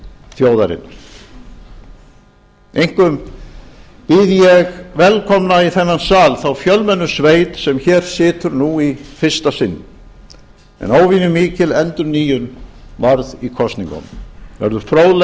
þjóðarinnar einkum býð ég velkomna í þennan sal þá fjölmennu sveit sem hér situr nú í fyrsta sinn en óvenjumikil endurnýjun varð í kosningunum verður